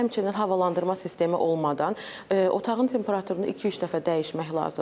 Həmçinin havalandırma sistemi olmadan otağın temperaturunu iki-üç dəfə dəyişmək lazımdır.